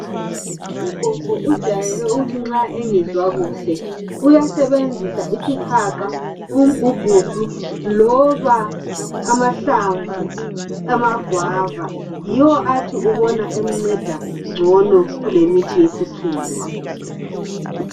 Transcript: Ugogo ujayele ukuthi nxa engezwa kuhle uyasebenzisa isihaqa ,umgugudu loba amahlamvu ama guava yiwo athi ubona emnceda ngcono kulemithi yesikhiwa.